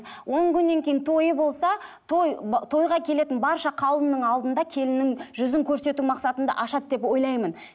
он күннен кейін тойы болса той тойға келетін барша қауымның алдында келіннің жүзін көрсету мақсатында ашады деп ойлаймын